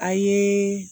A ye